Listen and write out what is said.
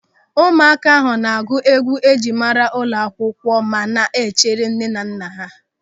Ụmụaka ahụ na-agụ egwu njirimara ụlọakwụkwọ ma na-echere nnenanna ha.